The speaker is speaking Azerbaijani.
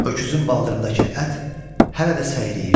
Öküzün baldırındakı ət hələ də səyriyirdi.